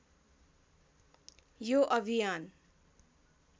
यो अभियान